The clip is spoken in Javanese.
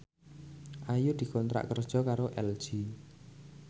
Ayu dikontrak kerja karo LG